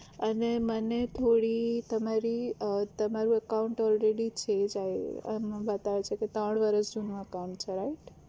અને મને થોડી તમારી તમારું account already થઇ જાય આમાં બતાવે છે કે ત્રણ વરસ જુનું account છે right